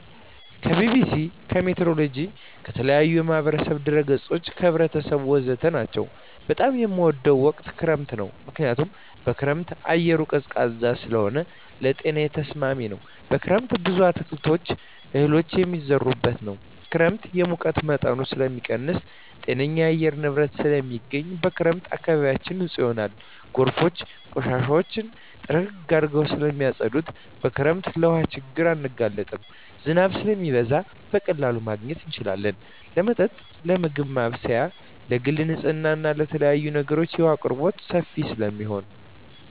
ከቢቢሲ, ከሜትሮሎጅ, ከተለያዪ የማህበራዊ ድረ ገፆች , ከህብረተሰቡ ወዘተ ናቸው። በጣም የምወደው ወቅት ክረምት ነው ምክንያቱም በክረምት አየሩ ቀዝቃዛ ስለሆነ ለጤናዬ ተስማሚ ነው። በክረምት ብዙ አትክልቶች እህሎች የሚዘሩበት ነው። ክረምት የሙቀት መጠንን ስለሚቀንስ ጤነኛ የአየር ንብረት ስለማገኝ። በክረምት አካባቢያችን ንፁህ ይሆናል ጎርፎች ቆሻሻውን ጥርግርግ አድርገው ስለማፀዱት። በክረምት ለውሀ ችግር አንጋለጥም ዝናብ ስለሚዘንብ በቀላሉ ማግኘት እንችላለን ለመጠጥ ለምግብ ማብሰያ ለግል ንፅህና ለተለያዪ ነገሮች የውሀ አቅርቦት ሰፊ ስለሚሆን።